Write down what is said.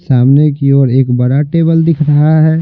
सामने की ओर एक बड़ा टेबल दिख रहा है।